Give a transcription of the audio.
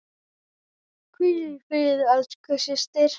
Hvíl í friði elsku systir.